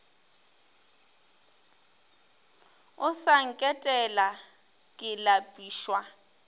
o sa nketela ke lapišwa